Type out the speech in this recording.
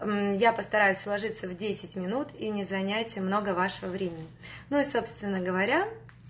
мм я постараюсь вложиться в десять минут и не занят много вашего времени ну и собственно говоря